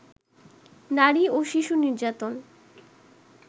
নারী ও শিশু নির্যাতন